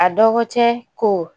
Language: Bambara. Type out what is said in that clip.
A dɔgɔ cɛ ko